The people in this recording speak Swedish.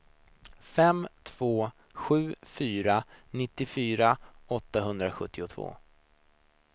fem två sju fyra nittiofyra åttahundrasjuttiotvå